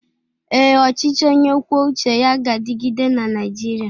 Ee, ọchịchị onye kwuo uche ya ga-adịgide na Naịjirịa.